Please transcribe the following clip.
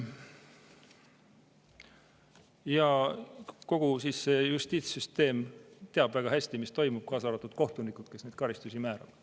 Ja kogu justiitssüsteem teab väga hästi, mis toimub, kaasa arvatud kohtunikud, kes neid karistusi määravad.